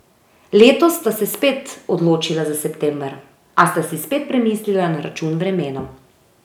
Letos sta se spet odločila za september, a sta si spet premislila na račun vremena.